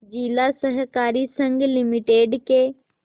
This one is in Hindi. जिला सहकारी संघ लिमिटेड के